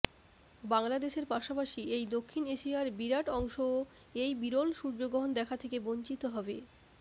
বাংলাদেশের পাশাপাশি এই দক্ষিণ এশিয়ার বিরাট অংশও এই বিরল সূর্যগ্রহণ দেখা থেকে বঞ্চিত হবে